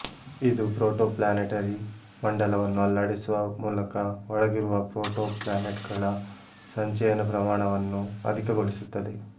ಇದು ಪ್ರೋಟೋಪ್ಲ್ಯಾನೆಟರಿ ಮಂಡಲವನ್ನು ಅಲ್ಲಾಡಿಸುವ ಮೂಲಕ ಒಳಗಿರುವ ಪ್ರೋಟೋಪ್ಲ್ಯಾನೆಟ್ ಗಳ ಸಂಚಯನ ಪ್ರಮಾಣವನ್ನು ಅಧಿಕಗೊಳಿಸುತ್ತದೆ